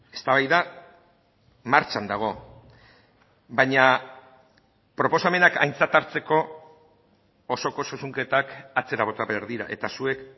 eztabaida martxan dago baina proposamenak aintzat hartzeko osoko zuzenketak atzera bota behar dira eta zuek